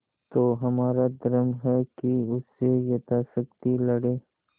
तो हमारा धर्म है कि उससे यथाशक्ति लड़ें